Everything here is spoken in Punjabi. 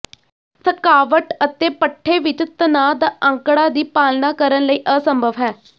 ਥਕਾਵਟ ਅਤੇ ਪੱਠੇ ਵਿਚ ਤਣਾਅ ਦਾ ਅੰਕੜਾ ਦੀ ਪਾਲਣਾ ਕਰਨ ਲਈ ਅਸੰਭਵ ਹੈ